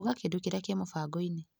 Uga kĩndũ kĩrĩa kĩ mũbango-inĩ .